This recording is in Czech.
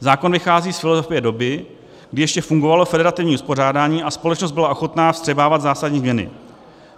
Zákon vychází z filozofie doby, kdy ještě fungovalo federativní uspořádání a společnost byla ochotná vstřebávat zásadní změny.